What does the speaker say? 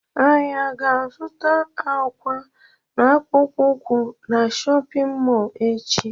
Anyị aga azụta akwa na akpụkpọ ukwu na shóppin mol echi?